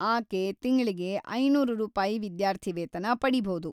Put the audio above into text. ಆಕೆ ತಿಂಗ್ಳಿಗೆ ಐನೂರು ರೂಪಾಯಿ ವಿದ್ಯಾರ್ಥಿವೇತನ ಪಡೀಭೌದು.